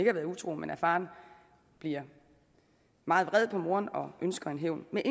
har været utro men at faren bliver meget vred på moren og ønsker en hævn med